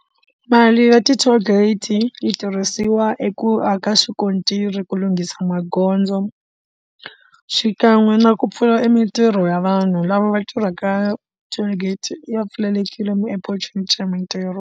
Mali ya ti toll gate yi tirhisiwa i ku aka xikontiri ku lunghisa magondzo xikan'we na ku pfula i mitirho ya vanhu lava va tirhaka toll gate ya pfalelekile opportunity mitirho.